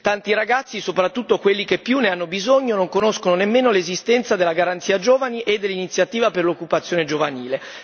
Tanti ragazzi, soprattutto quelli che più ne hanno bisogno, non conoscono nemmeno l'esistenza della garanzia per giovani e dell'iniziativa per l'occupazione giovanile.